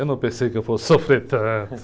Eu não pensei que eu fosse sofrer tanto.